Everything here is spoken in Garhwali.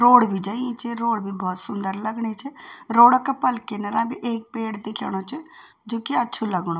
रोड़ भी जई च रोड बि भौत सुंदर लगणी च रोड़ा का पल किनरा बि ऐक पेड़ दिखेणु च जु कि अच्छु लगणु।